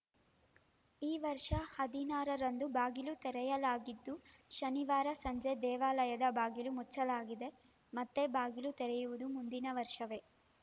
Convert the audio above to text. ಈ ವರ್ಷ ಹದಿನಾರರಂದು ಬಾಗಿಲು ತೆರೆಯಲಾಗಿದ್ದು ಶನಿವಾರ ಸಂಜೆ ದೇವಾಲಯದ ಬಾಗಿಲು ಮುಚ್ಚಲಾಗಿದೆ ಮತ್ತೆ ಬಾಗಿಲು ತೆರೆಯುವುದು ಮುಂದಿನ ವರ್ಷವೇ